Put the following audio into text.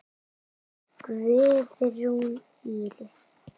Guðrún Íris.